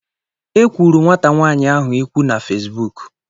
E kwuru nwata nwaanyị ahụ ikwu na Fesbuk